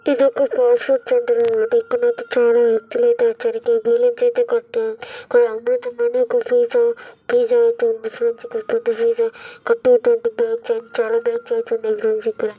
ఇది ఒక fast food center అన్నమాట. ఇక్కడికైతే చాలా వ్యక్తులు అయితే వచ్చారు.న్యూ లాంచ్ అయితే కొత్త ఇక్కడ అమృతమైన ఒక పిజ్జా పిజ్జా అయితే ఉంది. ఫ్రెండ్స్ ఇక్కడ పెద్ద pizza up to twenty batch and చాలా బైక్స్ ఉన్నాయి. ఫ్రెండ్స్ ఇక్కడ --